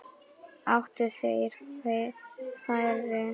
Áttu þeir færi?